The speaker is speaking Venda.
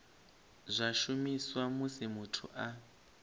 zwa shumiswa musi muthu a